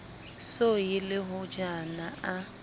so ye le hojana a